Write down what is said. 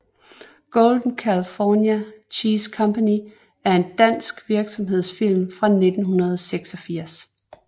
Golden California Cheese Company er en dansk virksomhedsfilm fra 1986